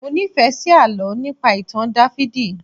Mọ nífẹ̀ẹ́ sí àlọ́ nípa ìtàn Dáfídì